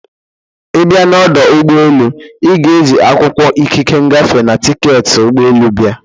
Ịbịa n'ọdụ ụgbọ elu, ị ga e ji akwụkwọ ikike ngafe na tiketi ụgbọ elu bịa.